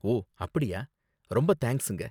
ஓ, அப்படியா! ரொம்ப தேங்க்ஸுங்க.